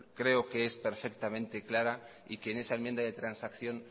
creo que es perfectamente clara y que en esa enmienda de transacción